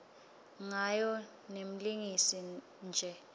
ngayo nemlingisi ne